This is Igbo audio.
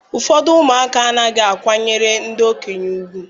Ụfọdụ ụmụaka anaghị akwanyere ndị okenye ùgwù